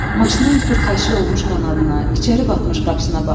Maşının xurd-xəşil olmuş qanadına, içəri batmış qapısına baxdı.